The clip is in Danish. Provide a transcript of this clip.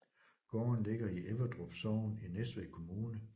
Gården ligger i Everdrup Sogn i Næstved Kommune